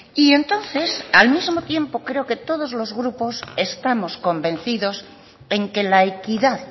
y entonces al mismo tiempo creo que todos los grupos estamos convencidos en que la equidad